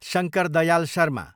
Shankar Dayal Sharma